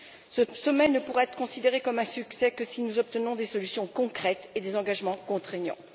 Ce sommet ne pourra être considéré comme un succès que si nous obtenons des solutions concrètes et des engagements contraignants.